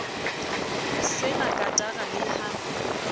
se na katara le ha